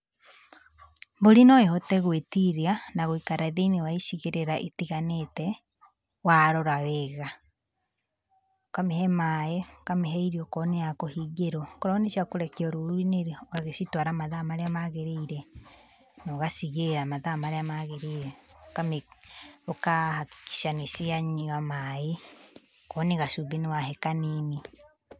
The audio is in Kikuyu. Mbũri no ĩhote gwĩtiria na gũikara thĩiniĩ wa icigĩrĩra ĩtiganĩte, warora wega. Ũkamĩhe maĩ, ũkamĩhe irio okorwo nĩ ya kũhingĩrwo. Okorwo nĩ cia kũrekio rũruinĩ-rĩ, ũgagĩcitwara mathaa marĩa maagĩrĩire, na ũgacigĩra mathaa marĩa maagĩrĩire. Ũkamĩ Ũkahakikisha nĩcianyua maĩ, okorwo nĩ gacumbĩ nĩ wahe kanini.